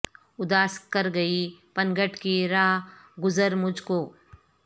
اداس کر گئی پنگھٹ کی رہ گزر مجھ کو